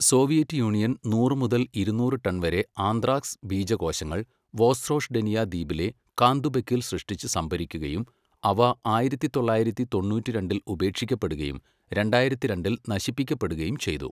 Soviet Union നൂറ് മുതൽ ഇരുന്നൂറ് ടൺ വരെ ആന്ത്രാക്സ് ബീജകോശങ്ങൾ വോസ്രോഷ്ഡെനിയ ദ്വീപിലെ കാന്തുബെക്കിൽ സൃഷ്ടിച്ച് സംഭരിക്കുകയും, അവ ആയിരത്തി തൊള്ളായിരത്തി തൊണ്ണൂറ്റിരണ്ടിൽ ഉപേക്ഷിക്കപ്പെടുകയും രണ്ടായിരത്തി രണ്ടിൽ നശിപ്പിക്കപ്പെടുകയും ചെയ്തു.